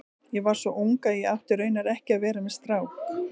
Ég var svo ung að ég átti raunar ekki að vera með strák.